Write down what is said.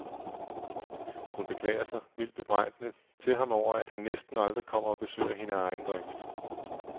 Hun beklager sig, mildt bebrejdende, til ham over, at han næsten aldrig kommer og besøger hende af egen drift.